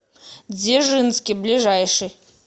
дзержинский ближайший